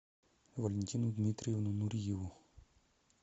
валентину дмитриевну нуриеву